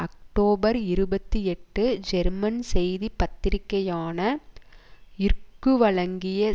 October இருபத்தி எட்டு German செய்தி பத்திரிகையான இற்கு வழங்கிய